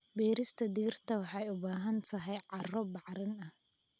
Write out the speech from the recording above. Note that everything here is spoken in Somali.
Beerista digirta waxay u baahan tahay carro bacrin ah.